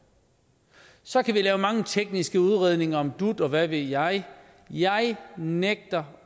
så kan vi lave mange tekniske udredninger om dut og hvad ved jeg jeg nægter